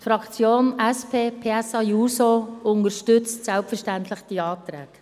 Die Fraktion SP-PSA-JUSO unterstützt selbstverständlich diese Anträge.